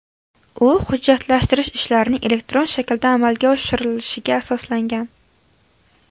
U hujjatlashtirish ishlarining elektron shaklda amalga oshirilishiga asoslangan.